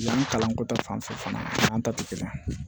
Yan kalanko ta fanfɛ fana kalan ta te kelen ye